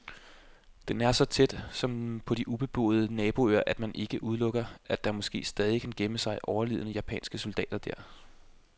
Den er så tæt, som på de ubeboede naboøer, at man ikke udelukker, at der måske stadig kan gemme sig overlevende japanske soldater der.